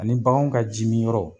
Ani baganw ka jimi yɔrɔ.